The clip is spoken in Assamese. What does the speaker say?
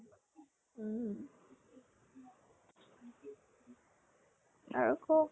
উম। আৰু কʼ